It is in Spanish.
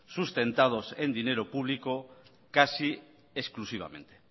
sustentados en dinero público casi exclusivamente